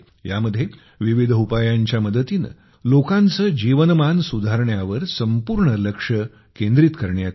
यामध्ये विविध उपायांच्या मदतीने लोकांचे जीवनमान सुधारण्यावर संपूर्ण लक्ष केंद्रित करण्यात येते